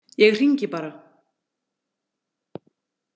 Ég hringi bara.